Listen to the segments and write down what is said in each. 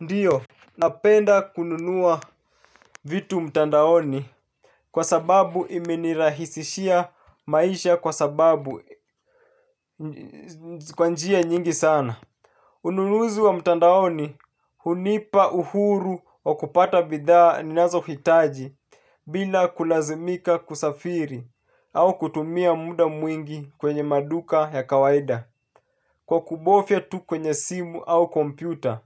Ndiyo, napenda kununua vitu mtandaoni kwa sababu imenirahisishia maisha kwa sababu kwa njia nyingi sana. Ununuzi wa mtandaoni hunipa uhuru wa kupata bidhaa ninazohitaji. Bila kulazimika kusafiri au kutumia muda mwingi kwenye maduka ya kawaida kwa kubofya tu kwenye simu au kompyuta.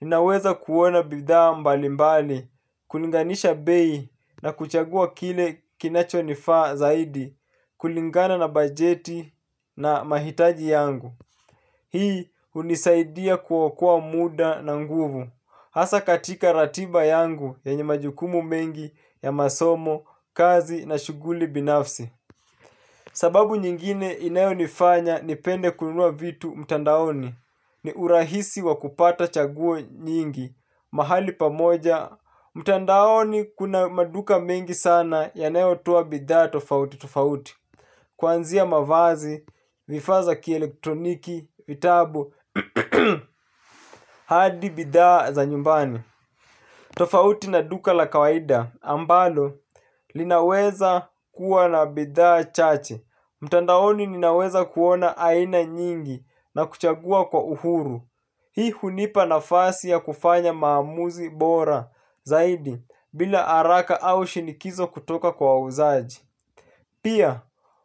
Ninaweza kuona bidhaa mbalimbali, kulinganisha bei na kuchagua kile kinachonifaa zaidi kulingana na bajeti na mahitaji yangu. Hii hunisaidia kuokoa muda na nguvu. Hasa katika ratiba yangu yenye majukumu mengi ya masomo, kazi na shughuli binafsi. Sababu nyingine inayonifanya nipende kununua vitu mtandaoni ni urahisi wa kupata chaguo nyingi mahali pamoja. Mtandaoni kuna maduka mengi sana yanayotoa bidhaa tofauti, tofauti kuanzia mavazi, vifaa za kielektroniki, vitabu, hadi bidhaa za nyumbani. Tofauti na duka la kawaida ambalo linaweza kuwa na bidhaa chache. Mtandaoni ninaweza kuona aina nyingi na kuchagua kwa uhuru. Hii hunipa nafasi ya kufanya maamuzi bora zaidi bila haraka au shinikizo kutoka kwa wauzaji. Pia,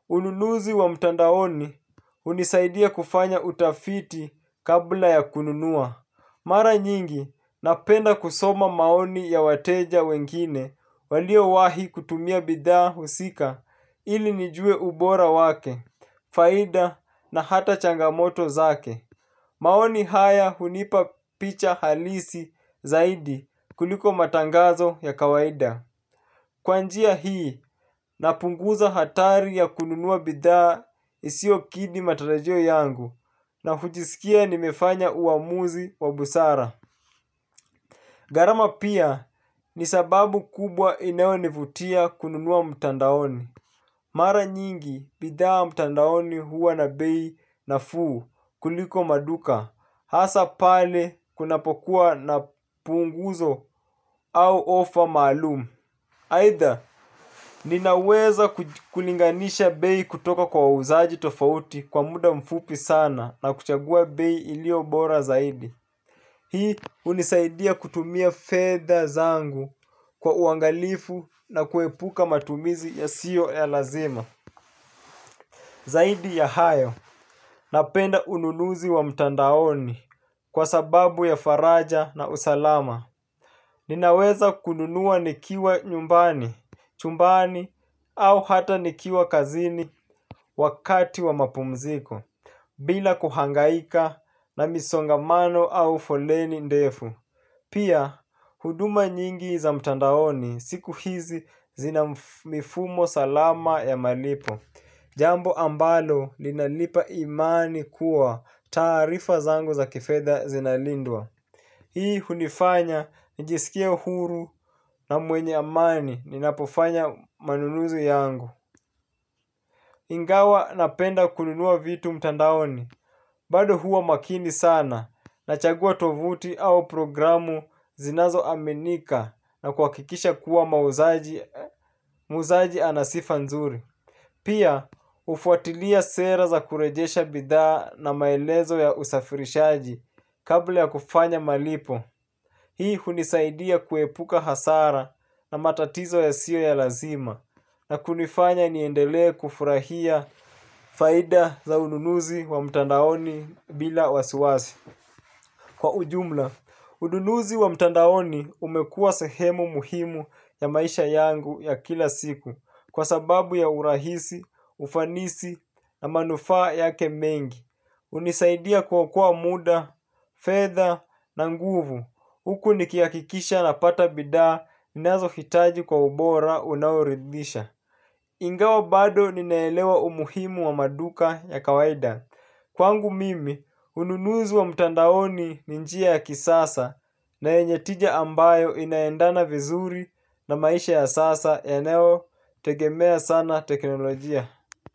ununuzi wa mtandaoni hunisaidia kufanya utafiti kabla ya kununua. Mara nyingi napenda kusoma maoni ya wateja wengine walio wahi kutumia bidhaa husika ili nijue ubora wake, faida na hata changamoto zake. Maoni haya hunipa picha halisi zaidi kuliko matangazo ya kawaida. Kwa njia hii napunguza hatari ya kununua bidhaa isiyokidhi matarajio yangu na hujisikia nimefanya uamuzi wa busara. Gharama pia ni sababu kubwa inayonivutia kununua mtandaoni. Mara nyingi bidhaa mtandaoni huwa na bei nafuu kuliko maduka. Hasa pale kunapokuwa na punguzo au ofa maalum. Aidha ninaweza kulinganisha bei kutoka kwa wauzaji tofauti kwa muda mfupi sana na kuchagua bei iliyo bora zaidi. Hii hunisaidia kutumia fedha zangu kwa uangalifu na kuepuka matumizi yasiyo ya lazima. Zaidi ya hayo napenda ununuzi wa mtandaoni kwa sababu ya faraja na usalama. Ninaweza kununua nikiwa nyumbani, chumbani au hata nikiwa kazini wakati wa mapumziko bila kuhangaika na misongamano au foleni ndefu. Pia, huduma nyingi za mtandaoni siku hizi zina mifumo salama ya malipo. Jambo ambalo linanipa imani kuwa taarifa zangu za kifedha zinalindwa. Hii hunifanya nijisikie huru na mwenye amani ninapofanya manunuzi yangu. Ingawa napenda kununua vitu mtandaoni bado huwa makini sana nachagua tovuti au programu zinazoaminika na kuhakikisha kuwa muuzaji ana sifa nzuri. Pia hufuatilia sera za kurejesha bidhaa na maelezo ya usafirishaji kabla ya kufanya malipo. Hii hunisaidia kuepuka hasara na matatizo yasiyo ya lazima na kunifanya niendelee kufurahia faida za ununuzi wa mtandaoni bila wasiwasi. Kwa ujumla, ununuzi wa mtandaoni umekuwa sehemu muhimu ya maisha yangu ya kila siku kwa sababu ya urahisi, ufanisi na manufaa yake mengi. Hunisaidia kuokoa muda, fedha na nguvu huku nikihakikisha napata bidhaa ninazohitaji kwa ubora unaoridhisha. Ingawa bado ninaelewa umuhimu wa maduka ya kawaida kwangu mimi, ununuzi wa mtandaoni ni njia ya kisasa na yenye tija ambayo inaendana vizuri na maisha ya sasa yanayotegemea sana teknolojia.